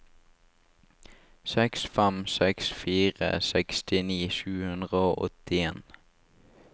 seks fem seks fire sekstini sju hundre og åttien